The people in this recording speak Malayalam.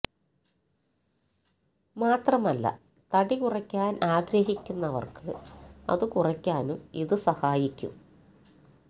മാത്രമല്ല തടി കുറയ്ക്കാന് ആഗ്രഹിക്കുന്നവര്ക്ക് അത് കുറയ്ക്കാനും ഇത് സഹായിക്കും